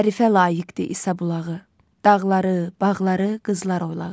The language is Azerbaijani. Tərifə layiqdir İsa bulağı, dağları, bağları, qızlar oylağı.